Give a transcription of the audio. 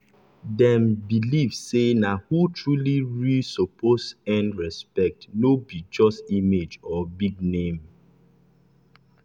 dem dem believe say na who truly real suppose earn respect no be just image or big name.